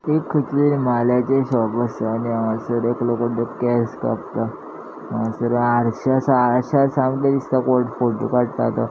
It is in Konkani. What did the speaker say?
एक खयसले म्हाल्याचे शॉप आसा आणि हांगासर एकलो कोणतरी केस कापता हांगासर आर्षे आसा आरश्यान सामके दिसता कोन फोटो काडटा तो.